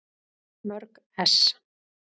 Mörg ess.